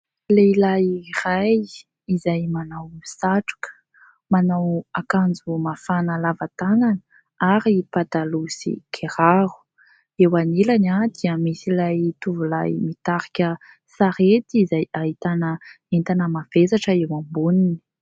Lehilahy iray izay manao satroka, manao akanjo mafana lava tanana ary pataloha sy kiraro. Eo anilany dia misy ilay tovolahy mitarika sarety izay ahitana entana mavesatra eo amboniny.